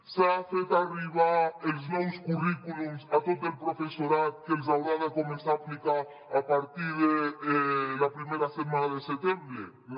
s’han fet arribar els nous currículums a tot el professorat que els haurà de començar a aplicar a partir de la primera setmana de setembre no